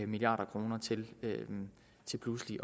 milliard kroner til til pludselig